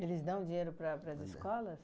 Eles dão dinheiro para para as escolas?